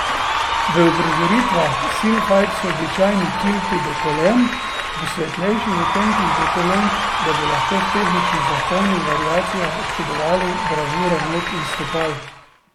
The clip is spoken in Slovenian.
V uprizoritvah Silfide so običajni kilti do kolen, ob svetlejših odtenkih dokolenk, da bi lahko v tehnično zahtevnih variacijah občudovali bravure nog in stopal.